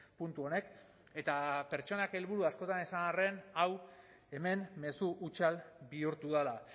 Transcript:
puntu honek eta pertsonak helburu askotan esan arren hau hemen mezu hutsal bihurtu dela